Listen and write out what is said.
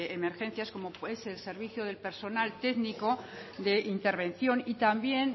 emergencias como es el servicio del personal técnico de intervención y también